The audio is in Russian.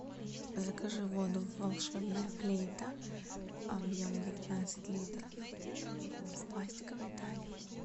закажи воду волшебная флейта объем девятнадцать литров в пластиковой таре